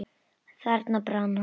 Þarna brann hann.